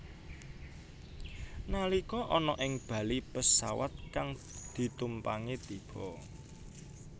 Nalika ana ing bali pesawat kang ditumpangi tiba